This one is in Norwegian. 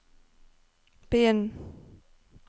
begynn